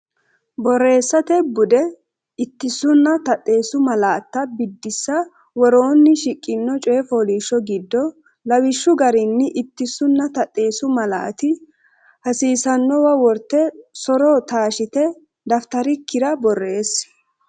Borreessate Bude: Ittisunna Taxxeessu Malaatta Biddissa Woroonni shiqqino coy fooliishsho giddo lawishshu garinni ittisunna taxxeessu malaati hasiissannowa worte so’ro taashshite dafitarikkira borreessi.